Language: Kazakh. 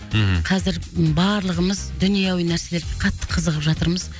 мхм қазір барлығымыз дүниеауи нәрселерге қатты қызығып жатырмыз